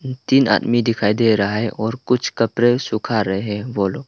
तीन आदमी दिखाई दे रहा है और कुछ कपड़े सुखा रहे हैं वो लोग--